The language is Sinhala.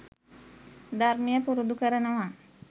ධර්මය පුරුදු කරනවා.